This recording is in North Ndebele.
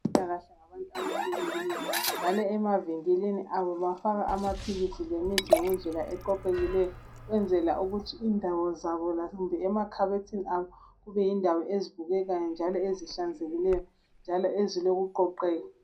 Abezempilakahle ngabantu abahlelekileyo ,njalo emavinkilini abo bafaka amaphilisi lemithi ngendlela eqoqekileyo. Ukwenzela ukuthi indawo zabo kumbe emakhabethini abo kube zindawo ezibukekayo njalo ezihlanzekileyo ,njalo ezilokuqoqeka.